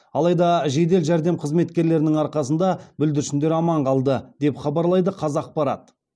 алайда жедел жәрдем қызметкерлерінің арқасында бүлдіршіндер аман қалды деп хабарлайды қазақпарат